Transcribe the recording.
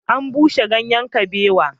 An bushe ganyen kabewar